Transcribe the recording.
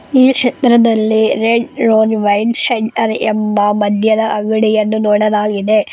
ಈ ಶೆಟ್ಟರದಲ್ಲಿ red rose wine centre ಎಂಬ ಮದ್ಯದ ಅಂಗಡಿಯನ್ನು ನೋಡಲಾಗಿದೆ.